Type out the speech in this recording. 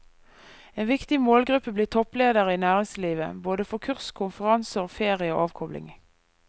En viktig målgruppe blir toppledere i næringslivet, både for kurs, konferanser og ferie og avkobling.